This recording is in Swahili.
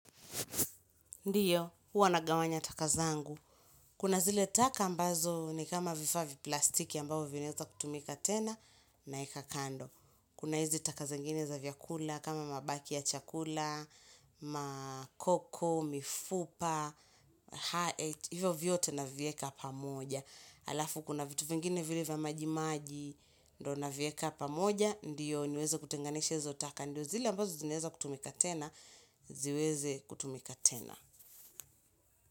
Ndiyo, huwa nagawanya taka zangu. Kuna zile taka ambazo ni kama vifaa vya plastiki ambao vinaeza kutumika tena naeka kando. Kuna hizi taka zingine za vyakula kama mabaki ya chakula, makoko, mifupa, haet, hivyo vyote na vieka pamoja. Alafu kuna vitu vingine vile vya maji maji, ndo navieka pamoja, ndiyo niweze kutenganisha hizo taka. Ndiyo zile ambazo zinaeza kutumika tena, ziweze kutumika tena.